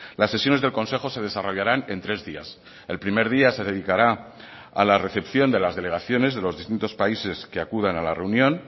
las sesiones del consejo se desarrollarán en tres días el primer día se dedicará a la recepción de las delegaciones de los distintos países que acudan a la reunión